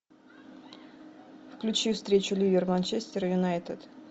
включи встречу ливер манчестер юнайтед